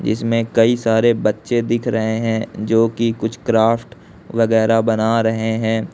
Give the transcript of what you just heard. जिसमें कई सारे बच्चे दिख रहे हैं जो कि कुछ क्राफ्ट वगैरह बना रहे हैं।